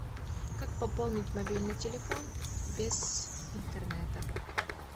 как пополнить мобильный телефон без интернета